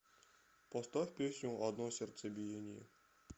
поставь песню одно сердцебиение